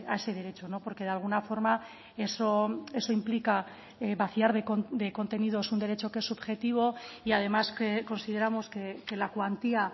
ese derecho no porque de alguna forma eso implica vaciar de contenidos un derecho que es subjetivo y además que consideramos que la cuantía